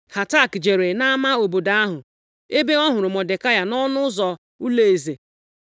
Hatak jere nʼama obodo ahụ ebe ọ hụrụ Mọdekai nʼọnụ ụzọ ụlọeze.